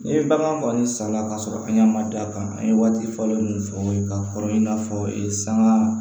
Ni ye bagan kɔni sanna k'a sɔrɔ an ɲɛ ma da kan an ye waati fɔlen minnu fɔ aw ye k'a kɔrɔ in n'a fɔ sanga